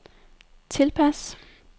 tilpas